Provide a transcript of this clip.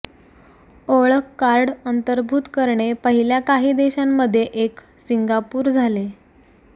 ओळख कार्ड अंतर्भूत करणे पहिल्या काही देशांमध्ये एक सिंगापूर झाले